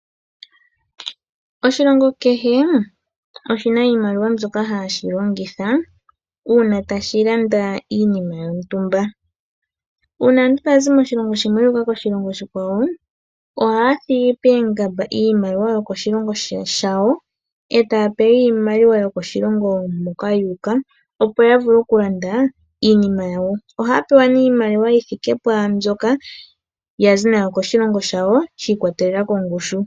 Oshilongo kehe oshi na iimaliwa mbyoka hashi longitha, uuna tashi landa iinima yontumba. Uuna aantu taya zi moshilongo shimwe yu uka koshilongo oshikwawo, ohaya thigi poongamba iimaliwa yokoshilongo shawo, e taya pewa iimaliwa yokoshilongo moka yu uka, opo ya vule oku landa iinima yawo. Ohaya pewa nee iimaliwa yi thike pwaa mbyoka yazi nayo koshilongo shayo, shi ikwatelela kongushu.